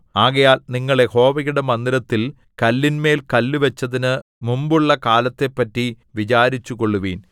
ആകയാൽ നിങ്ങൾ യഹോവയുടെ മന്ദിരത്തിൽ കല്ലിന്മേൽ കല്ല് വച്ചതിന് മുമ്പുള്ളകാലത്തെപ്പറ്റി വിചാരിച്ചുകൊള്ളുവിൻ